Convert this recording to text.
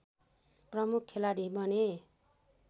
प्रमुख खेलाडी बने